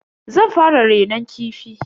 Zan fara renon kifi.